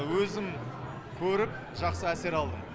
өзім көріп жақсы әсер алдым